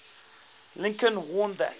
lincoln warned that